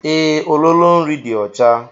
Ee, ololo nri dị ọcha.